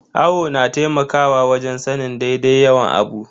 Awo na taimakawa wajen sanin daidai yawan abu.